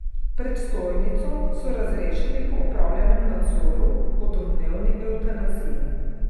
Predstojnico so razrešili po opravljenem nadzoru o domnevni evtanaziji.